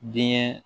Denkɛ